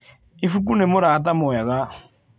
Ibuku nĩ mũrata mwega.